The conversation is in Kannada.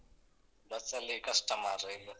ಬಸ್ಸಲ್ಲಿ ಕಷ್ಟ ಮಾರ್‍ರೇ ಈಗ.